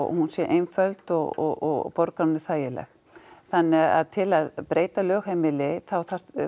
hún sé einföld og borgaranum þæginleg þannig að til að breyta lögheimili þá